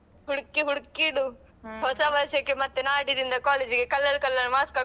ಹುಡ್ಕಿ ಹುಡ್ಕಿಡು ಹೊಸ ವರ್ಷಕ್ಕೆ ಮತ್ತೆ ನಾಡಿದಿಂದ college ಗೆ colour colour mask ಹಾಕು.